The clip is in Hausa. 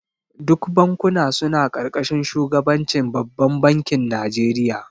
Duk bankuna suna karkashin shugabancin babbar bankin Najeriya